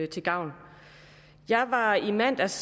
til gavn jeg var i mandags